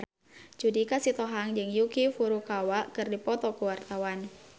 Judika Sitohang jeung Yuki Furukawa keur dipoto ku wartawan